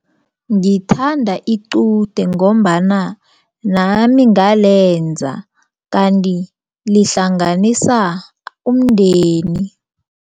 Ngithanda iqude ngombana nami ngalenza kanti lihlanganisa umndeni.